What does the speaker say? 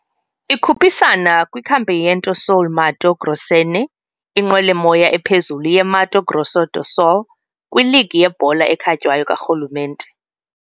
Ikhuphisana kwiCampeonato Sul-Mato-Grossense, inqwelomoya ephezulu yeMato Grosso do Sul league yebhola ekhatywayo karhulumente.